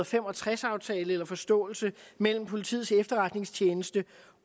fem og tres aftalen eller en forståelse mellem politiets efterretningstjeneste